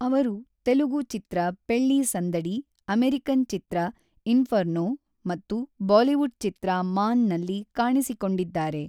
ಅವರು ತೆಲುಗು ಚಿತ್ರ, ಪೆಳ್ಲಿ ಸಂದಡಿ, ಅಮೇರಿಕನ್ ಚಿತ್ರ ಇನ್ಫರ್ನೋ ಮತ್ತು ಬಾಲಿವುಡ್ ಚಿತ್ರ ಮಾನ್ ನಲ್ಲಿ ಕಾಣಿಸಿಕೊಂಡಿದ್ದಾರೆ.